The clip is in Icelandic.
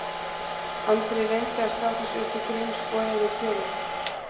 Andri reyndi að slá þessu upp í grín, skoðaði á kjölinn